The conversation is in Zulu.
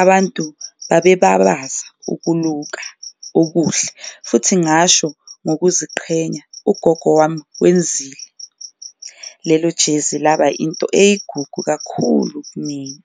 Abantu babe babaza ukuluka okuhle futhi ngasho nokuziqhenya ugogo wami wenzile lelo ijezi laba into eyigugu kakhulu kumina.